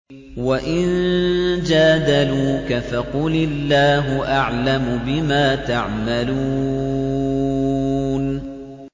وَإِن جَادَلُوكَ فَقُلِ اللَّهُ أَعْلَمُ بِمَا تَعْمَلُونَ